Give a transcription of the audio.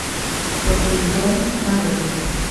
посейдон нарой